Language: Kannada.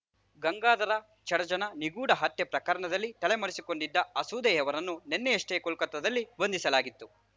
ಗಂಗಾಧರ ಚಡಚಣ ನಿಗೂಢ ಹತ್ಯೆ ಪ್ರಕರಣದಲ್ಲಿ ತಲೆಮರೆಸಿಕೊಂಡಿದ್ದ ಅಸೋದೆಯವರನ್ನು ನಿನ್ನೆಯಷ್ಟೇ ಕೋಲ್ಕತಾದಲ್ಲಿ ಬಂಧಿಸಲಾಗಿತ್ತು